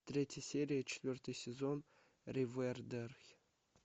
третья серия четвертый сезон ривердэйл